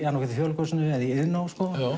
Þjóðleikhúsinu eða Iðnó